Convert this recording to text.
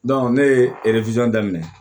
ne ye daminɛ